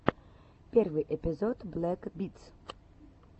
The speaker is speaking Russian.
первый эпизод блэк битс